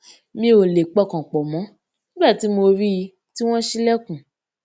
mi ò lè pọkàn pò mó nígbà tí mo rí i tí wón ṣílèkùn